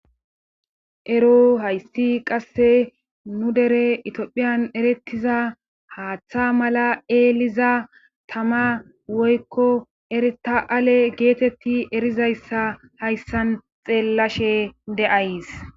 Ero hayssi qasse nu dere itiophiyan erettiza haaththa mala eeliza tama woykko erita;aale geetetti erizayssa hayssan xeellashe de'ays